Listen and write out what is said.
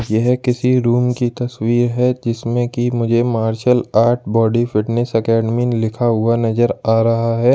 यह किसी रूम की तस्वीर है जिसमें कि मुझे martial art body fitness academy लिखा हुआ नजर आ रहा है।